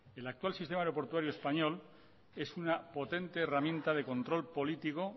el actual sistema aeroportuario español es una potente herramienta de control político